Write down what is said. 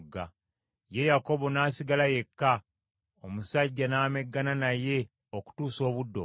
Ye Yakobo n’asigala yekka, omusajja n’ameggana naye okutuusa obudde okukya.